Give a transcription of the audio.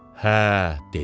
Hə, dedi.